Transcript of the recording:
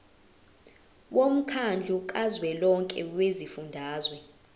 womkhandlu kazwelonke wezifundazwe